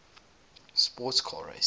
sports car racing